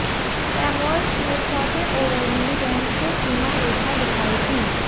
Samuel's ने चौथे over में गेंद को सीमा रेखा दिखाई थी